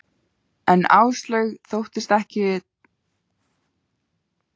En Áslaug þóttist ekkert taka eftir stríðninni í mér.